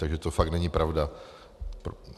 Takže to fakt není pravda.